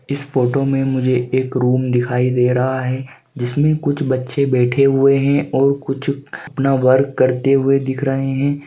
इस फोटो में मुझे एक रूम दिखाई दे रहा है जिसमे कुछ बच्चे बैठे हुए हैं और कुछ अपना वर्क करते हुए दिख रहे हैं।